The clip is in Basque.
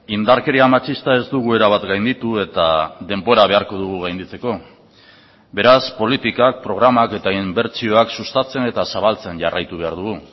indarkeria matxista ez dugu erabat gainditu eta denbora beharko dugu gainditzeko beraz politikak programak eta inbertsioak sustatzen eta zabaltzen jarraitu behar dugu